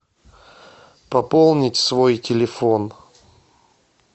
пополнить свой телефон